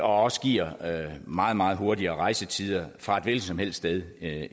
også giver meget meget hurtigere rejsetider fra et hvilket som helst sted